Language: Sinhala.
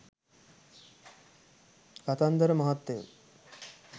කතන්දර මහත්තයෝ